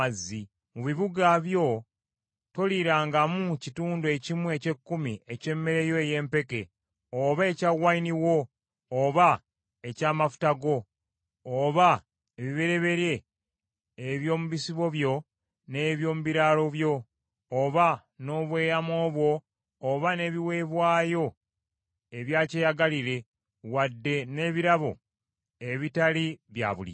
Mu bibuga byo toliirangamu kitundu ekimu eky’ekkumi eky’emmere yo ey’empeke, oba ekya wayini wo, oba eky’amafuta go; oba ebibereberye eby’omu bisibo byo n’eby’omu biraalo byo, oba n’obweyamo bwo oba n’ebiweebwayo ebya kyeyagalire; wadde n’ebirabo ebitali bya bulijjo.